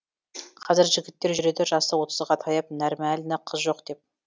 қазір жігіттер жүреді жасы отызға таяп нәрмәлні қыз жоқ деп